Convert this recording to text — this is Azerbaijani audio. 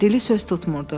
Dili söz tutmurdu.